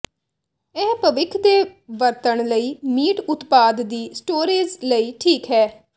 ਇਹ ਭਵਿੱਖ ਦੇ ਵਰਤਣ ਲਈ ਮੀਟ ਉਤਪਾਦ ਦੀ ਸਟੋਰੇਜ਼ ਲਈ ਠੀਕ ਹੈ